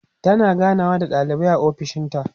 tana ganawa da ɗalibai a ofishinta